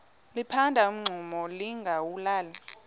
liphanda umngxuma lingawulali